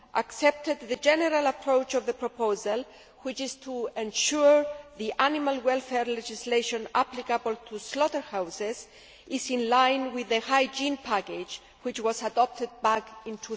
accepted the general approach of the proposal, which is to ensure the animal welfare legislation applicable to slaughterhouses is in line with the hygiene package which was adopted back in